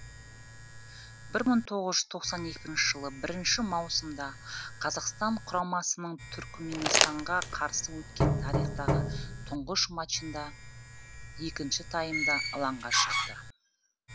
бір мың тоғыз жүз тоқсан екінші жылы бірінші маусымда қазақстан құрамасының түрікменстанға қарсы өткен тарихтағы тұңғыш мачында екінші таймда алаңға шықты